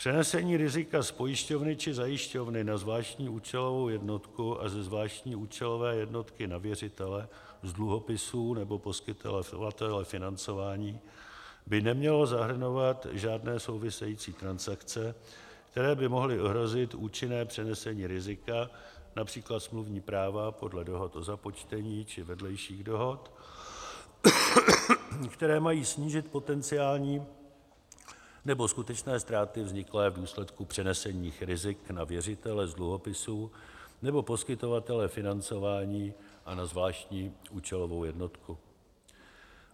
Přenesení rizika z pojišťovny či zajišťovny na zvláštní účelovou jednotku a ze zvláštní účelové jednotky na věřitele z dluhopisů nebo poskytovatele financování by nemělo zahrnovat žádné související transakce, které by mohly ohrozit účinné přenesení rizika, například smluvní práva podle dohod o započtení či vedlejších dohod, které mají snížit potenciální nebo skutečné ztráty vzniklé v důsledku přenesení rizik na věřitele z dluhopisů nebo poskytovatele financování a na zvláštní účelovou jednotku.